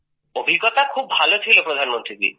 অভিজ্ঞতা খুব ভালো ছিল প্রধানমন্ত্রী জি